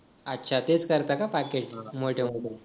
अच्छा तेच करता का मोठे होऊन